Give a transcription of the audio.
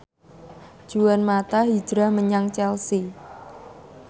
Juan mata hijrah menyang Chelsea